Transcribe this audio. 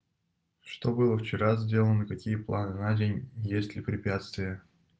что было вчера сделано какие планы на день если препятствия